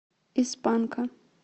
из панка